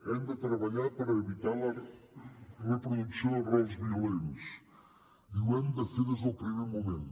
hem de treballar per evitar la reproducció de rols violents i ho hem de fer des del primer moment